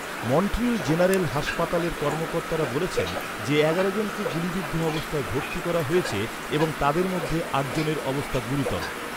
Montreal general হাসপাতালের কর্মকর্তারা বলেছেন, যে এগারো জনকে গুলিবিদ্ধ অবস্থায় ভর্তি করা হয়েছে এবং তাদের মধ্যে আট জনের অবস্থা গুরুতর।